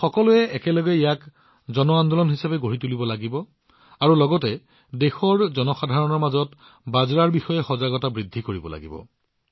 আমি সকলোৱে একেলগে ইয়াক জন আন্দোলন হিচাপে গঢ়ি তুলিব লাগিব আৰু লগতে দেশৰ জনসাধাৰণৰ মাজত বাজৰাৰ বিষয়ে সজাগতাও বৃদ্ধি কৰিব লাগিব